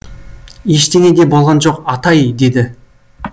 ештеңе де болған жоқ атай деді